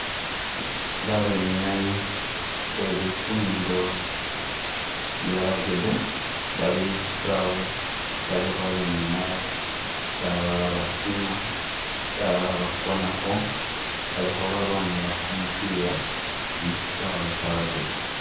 Babenyayi be lifundo lya rugby bali musisaawe balikho benyanya ,balala batima ,balala bakonakho bali khabalwanila kumupila musisaawe sha rugby